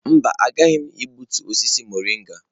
Mba, agaghị m egbutu osisi mọrịnga.